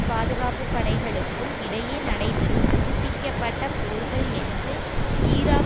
பாதுகாப்பு படைகளுக்கும் இடையே நடைபெறும் புதுப்பிக்க பட்ட போர்கள் என்று ஈராக்